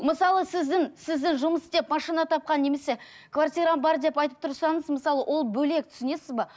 мысалы сіздің сізді жұмыс істеп машина тапқан немесе квартирам бар деп айтып тұрсаңыз мысалы ол бөлек түсінесіз бе